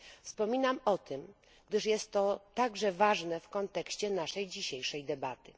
Wspominam o tym, gdyż jest to także ważne w kontekście naszej dzisiejszej debaty.